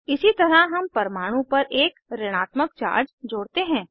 इसी तरह हम परमाणु पर एक ऋणात्मक चार्ज जोड़ते हैं